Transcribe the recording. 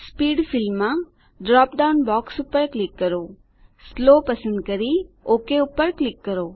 speed ફીલ્ડમાં drop down box પર click કરો સ્લો પસંદ કરી ઓક પર ક્લિક કરો